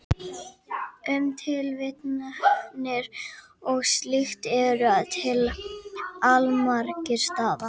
Um tilvitnanir og slíkt eru til allmargir staðlar.